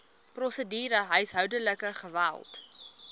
prosedure huishoudelike geweld